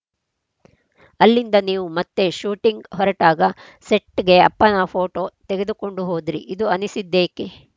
ಅಲ್ಲಿಂದ ನೀವು ಮತ್ತೆ ಶೂಟಿಂಗ್‌ ಹೊರಟಾಗ ಸೆಟ್‌ಗೆ ಅಪ್ಪನ ಫೋಟೋ ತೆಗೆದುಕೊಂಡು ಹೋದ್ರಿ ಇದು ಅನಿಸಿದ್ದೇಕ್ಕೆ